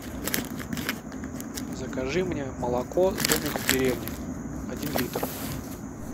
закажи мне молоко домик в деревне один литр